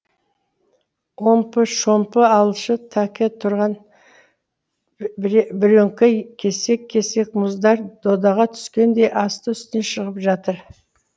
омпы шомпы алшы тәке тұрған бірөңкей кесек кесек мұздар додаға түскендей асты үстіне шығып жатыр